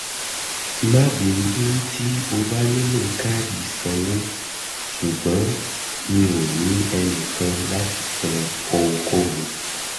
má bínú tí o um bá nílò káàdì ìsanwó ṣùgbọ́n mi um ò ní ẹnìkan láti san ohunkóhun